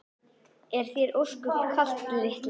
Er þér ósköp kalt litla mín?